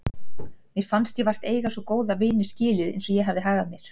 Mér fannst ég vart eiga svo góða vini skilið eins og ég hafði hagað mér.